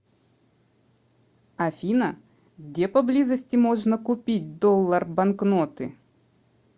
афина где поблизости можно купить доллар банкноты